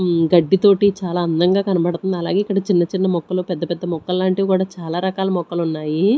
ఉమ్ గడ్డి తోటి చాలా అందంగా కనబడుతుంది అలాగే ఇక్కడ చిన్న చిన్న మొక్కలు పెద్ద పెద్ద మొక్కలు లాంటివి కూడా చాలా రకాల మొక్కలు ఉన్నాయి.